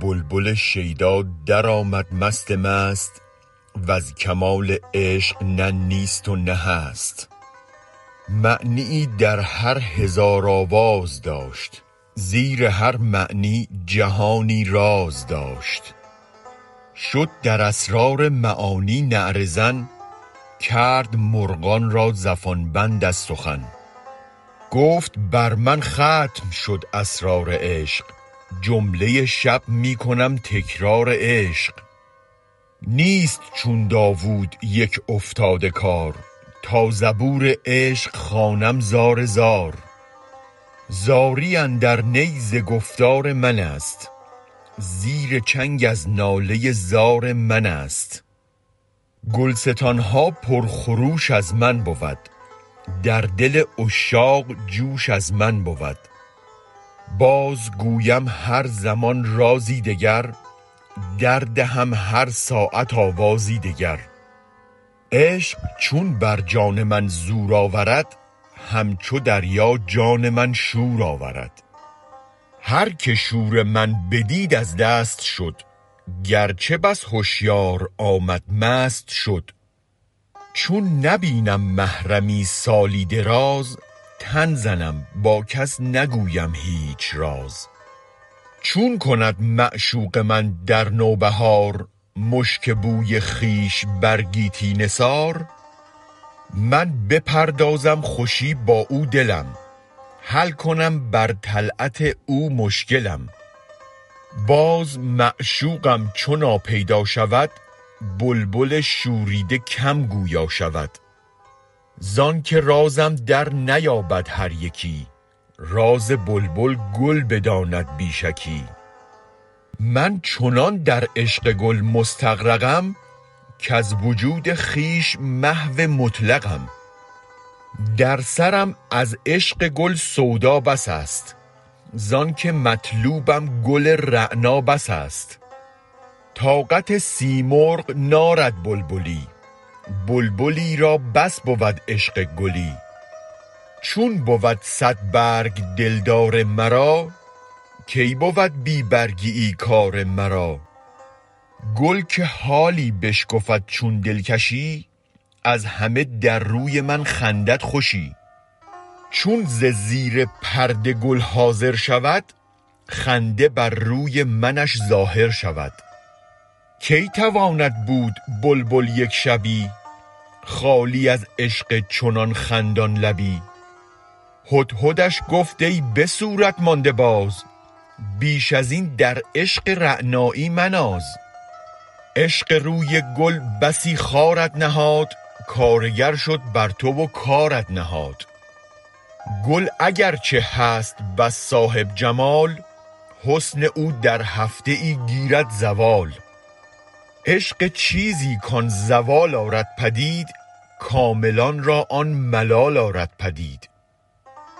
بلبل شیدا درآمد مست مست وز کمال عشق نه نیست و نه هست معنیی در هر هزار آواز داشت زیر هر معنی جهانی راز داشت شد در اسرار معانی نعره زن کرد مرغان را زفان بند از سخن گفت بر من ختم شد اسرار عشق جمله شب می کنم تکرار عشق نیست چون داوود یک افتاده کار تا زبور عشق خوانم زار زار زاری اندر نی ز گفتار من است زیر چنگ از ناله زار من است گل ستان ها پر خروش از من بود در دل عشاق جوش از من بود بازگویم هر زمان رازی دگر در دهم هر ساعت آوازی دگر عشق چون بر جان من زور آورد همچو دریا جان من شور آورد هر که شور من بدید از دست شد گر چه بس هشیار آمد مست شد چون نبینم محرمی سالی دراز تن زنم با کس نگویم هیچ راز چون کند معشوق من در نوبهار مشک بوی خویش بر گیتی نثار می بپردازد خوشی با او دلم حل کنم بر طلعت او مشکلم باز معشوقم چو ناپیدا شود بلبل شوریده کم گویا شود زآنک رازم درنیابد هر یکی راز بلبل گل بداند بی شکی من چنان در عشق گل مستغرقم کز وجود خویش محو مطلقم در سرم از عشق گل سودا بس است زآنک مطلوبم گل رعنا بس است طاقت سیمرغ نارد بلبلی بلبلی را بس بود عشق گلی چون بود صد برگ دلدار مرا کی بود بی برگیی کار مرا گل که حالی بشکفد چون دلکشی از همه در روی من خندد خوشی چون ز زیر پرده گل حاضر شود خنده بر روی منش ظاهر شود کی تواند بود بلبل یک شبی خالی از عشق چنان خندان لبی هدهدش گفت ای به صورت مانده باز بیش از این در عشق رعنایی مناز عشق روی گل بسی خارت نهاد کارگر شد بر تو و کارت نهاد گل اگر چه هست بس صاحب جمال حسن او در هفته ای گیرد زوال عشق چیزی کآن زوال آرد پدید کاملان را آن ملال آرد پدید